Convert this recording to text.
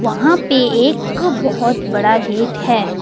वहां पे एक बहोत बड़ा गेट है।